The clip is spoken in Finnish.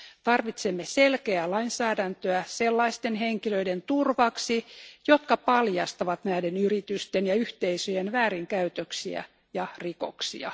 Tarvitsemme selkeää lainsäädäntöä sellaisten henkilöiden turvaksi, jotka paljastavat näiden yritysten ja yhteisöjen väärinkäytöksiä ja rikoksia.